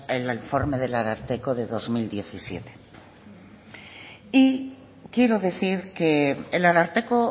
el informe del ararteko del dos mil diecisiete y quiero decir que el ararteko